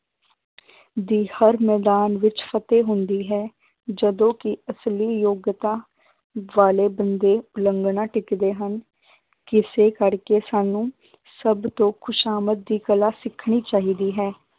ਦੀ ਹਰ ਮੈਦਾਨ ਵਿੱਚ ਫ਼ਤਿਹ ਹੁੰਦੀ ਹੈ, ਜਦੋਂ ਕਿ ਅਸਲੀ ਯੋਗਤਾ ਵਾਲੇ ਬੰਦੇ ਉਲੰਘਣਾ ਟਿੱਚਦੇ ਹਨ ਕਿਸੇ ਕਰਕੇ ਸਾਨੂੰ ਸਭ ਤੋਂ ਖ਼ੁਸ਼ਾਮਦ ਦੀ ਕਲਾ ਸਿਖਣੀ ਚਾਹੀਦੀ ਹੈ